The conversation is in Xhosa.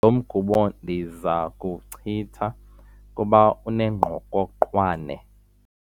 Lo mgubo ndiza kuwuchitha kuba unengqokoqwane.